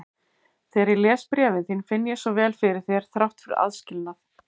Þegar ég les bréfin þín finn ég svo vel fyrir þér þrátt fyrir aðskilnað.